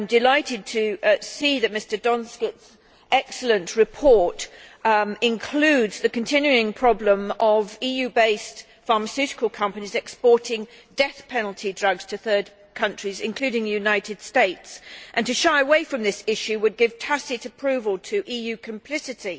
I am delighted to see that Mr Donskis's excellent report includes the continuing problem of EU based pharmaceutical companies exporting death penalty drugs to third countries, including the United States. To shy away from this issue would give tacit approval to EU complicity